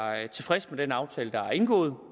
tilfredse med den aftale der er indgået